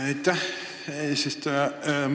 Aitäh, eesistuja!